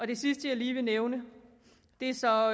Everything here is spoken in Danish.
det sidste jeg lige vil nævne er så